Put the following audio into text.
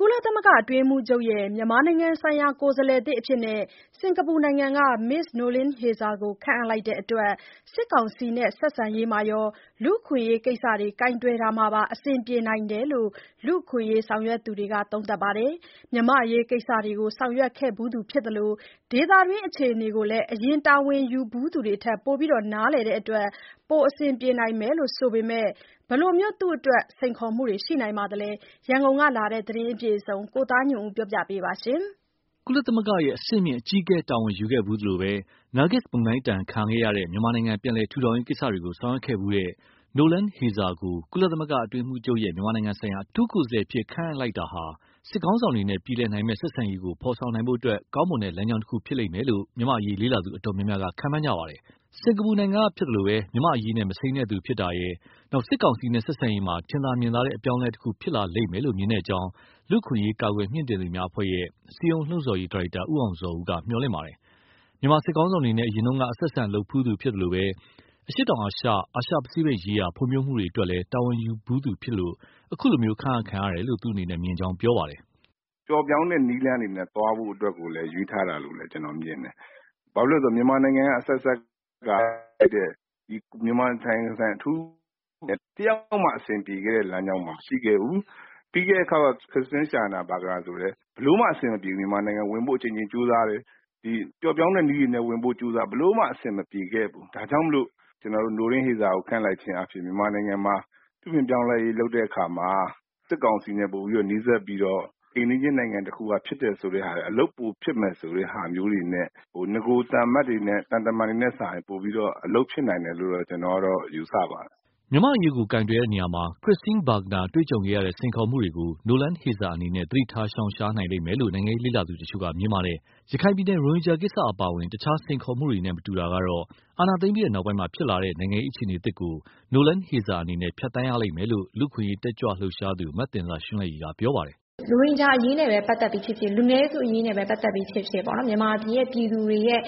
ကုလသမဂ္ဂအတွင်းရေးမှူးချုပ်ရဲ့ မြန်မာနိုင်ငံဆိုင်ရာ ကိုယ်စားလှယ်သစ်အဖြစ် စင်္ကာပူနိုင်ငံက Ms. Noeleen Heyzer ကိုခန့်အပ်လိုက်တဲ့အတွက် စစ်ကောင်စီနဲ့ ဆက်ဆံတာမှာရော လူ့အခွင့်ရေးကိစ္စတွေ ကိုင်တွယ်တာမှာပါ အဆင်ပြေနိုင်တယ်လို့ လူ့အခွင့်အရေးဆောင်ရွက်သူတွေက ပြောပါတယ်။ မြန်မာ့အရေးကိစ္စတွေကို ဆောင်ရွက်ခဲ့ဖူးသူဖြစ်သလို ဒေသတွင်း အခြေအနေကိုလည်း အရင်တာဝန်ယူဖူးသူတွေထက် ပိုပြီးနားလည်တဲ့အတွက် ပိုအဆင်ပြေနိုင်မယ်ဆိုပေမဲ့ သူ့အတွက် ဘယ်လိုစိန်ခေါ်မှုတွေ ရှိနိုင်ပါသလဲ။ ရန်ကုန်ကလာတဲ့ ဒီသတင်းကို ကိုသားညွန့်ဦးက တင်ပြပေးထားပါတယ်။ ကုလသမဂ္ဂရဲ့ အဆင့်မြင့်အကြီးအကဲတာဝန်ယူခဲ့ဖူးသလို နာဂစ်မုန်တိုင်းဒဏ်ခံရတဲ့ မြန်မာနိုင်ငံ ပြန်လည်ထူထောင်ရေးကိစ္စတွေကို ဆောင်ရွက်ခဲ့ဖူးတဲ့ Noeleen Heyzer ကို ကုလသမဂ္ဂအတွင်းရေးမှူးချုပ်ရဲ့ မြန်မာနိုင်ငံဆိုင်ရာ အထူးကိုယ်စားလှယ် အဖြစ်ခန့်အပ်လိုက်တာဟာ စစ်ခေါင်းဆောင်တွေနဲ့ ပြေလည်နိုင်မယ့်ဆက်ဆံရေးကို ဖော်ဆောင်နိုင်ဖို့ ကောင်းမွန် တဲ့ လမ်းကြောင်းတခုဖြစ်လိမ့်မယ်လို့ မြန်မာ့အရေး လေ့လာသူ တော်တော်များများက ခန့်မှန်းနေကြပါတယ်။ စင်္ကာပူနိုင်ငံကဖြစ်သလို မြန်မာ့အရေးနဲ့ မစိမ်းတဲ့သူဖြစ်တာရယ်၊ စစ်ကောင်စီနဲ့ဆက်ဆံရေးမှာ ထင်သာမြင်သာတဲ့ အပြောင်းအလဲတခု ဖြစ်လာလိမ့်မယ်လို့ မြင်ကြောင်း လူ့အခွင့်အရေး ကာကွယ်မြှင့်တင်သူများအဖွဲ့ရဲ့ စည်းရုံးလှုံ့ဆော်ရေး ဒါရိုက်တာ ဦးအောင်ဇော်ဦးက မျှော်လင့်ပါတယ်။ မြန်မာစစ်ခေါင်းဆောင်တွေနဲ့ အရင်က အဆက်အဆံလုပ်ဖူးသူဖြစ်သလို အရှေ့တောင် အာရှ၊ အာရှပစိဖိတ်ရေးရာ ဖွံ့ဖြိုးမှုတွေအတွက်လည်း တာဝန်ယူဖူးသူလည်းဖြစ်လို့ အခုလိုခန့်အပ်ခံရတယ်လို့ မြင်ကြောင်းသူက ပြောပါတယ်။ “ပျော့ပျောင်းတဲ့နည်းလမ်းတွေနဲ့ သွားဖို့အတွက်ကို ရွေးထားတာလို့ ကျနော်မြင်တယ်၊ ဘာဖြစ်လို့လဲဆိုတော့ မြန်မာနိုင်ငံက အဆက်ဆက်ကခန့်အပ်လိုက်တဲ့ အထူးကိုယ်စားလှယ်တွေနဲ့ တယောက်မှအဆင်ပြေခဲ့တဲ့လမ်းကြောင်းမှာ မရှိခဲ့ဘူး။ ပြီးခဲ့တဲ့အခေါက်က Christine Schraner Burgener ဆိုရင်လည်း ဘယ်လိုမှအဆင်မပြေဘူး၊ မြန်မာနိုင်ငံ အကြိမ်ကြိမ်ဝင် ဖို့ ကြိုးစားတယ်၊ ပျော့ပျောင်းတဲ့နည်းတွေနဲ့ ဝင်ဖို့ကြိုးစားတယ် ဘယ်လိုမှအဆင် မပြေခဲ့ဘူး။ ဒါကြောင့်မို့ Noeleen Heyzer ကို ခန့်အပ်လိုက်ခြင်းအားဖြင့် မြန်မာနိုင်ငံမှာ ပြုပြင်ပြောင်းလဲရေး လုပ်တဲ့အခါမှာ စစ်ကောင်စီနဲ့ ပိုပြီးနီးစပ်ပြီးတော့ အိမ်နီးချင်းနိုင်ငံက ဖြစ်တယ်ဆိုတဲ့ဟာက အလုပ်ပိုဖြစ်မယ် ဆိုတဲ့ဟာမျိုးတွေနဲ့ နဂိုရ်သံတမန်တွေထက်စာရင် ပိုပြီးတော့ အလုပ်ဖြစ်နိုင်မယ်လို့တော့ ကျနော်က ယူဆပါတယ်။” မြန်မာ့အရေးကို ကိုင်တွယ်တာမှာ Christine Schraner Burgener တွေ့ကြုံခဲ့တဲ့ စိန်ခေါ်မှုတွေကို Noeleen Heyzer အနေနဲ့ သတိထား ရှောင်ရှားနိုင်လိမ့်မယ်လို့ နိုင်ငံရေးလေ့လာသူတချို့က မြင်ပါတယ်။ ရခိုင်ပြည်နယ် ရိုဟင်ဂျင်ကိစ္စအပါအဝင် တခြားစိန်ခေါ်မှုတွေနဲ့ မတူတာကတော့ အာဏာသိမ်းပြီးနောက်ပိုင်းမှာ ဖြစ်လာတဲ့ နိုင်ငံရေး အခြေအနေသစ်ကို Noeleen Heyzer အနေနဲ့ ဖြတ်သန်းရလိမ့်မယ်လို့ လူ့အခွင့်အရေး တက်ကြွလှုပ်ရှားသူ မသဉ္ဇာရွှန်းလဲ့ရည်က ပြောပါတယ်။ “ရိုဟင်ဂျာအရေးနဲ့ ပတ်သက်ပြီးဖြစ်ဖြစ်၊ လူနည်းစုအရေးနဲ့ပတ်သက်ပြီးဖြစ်ဖြစ် မြန်မာပြည်သူတွေရဲ့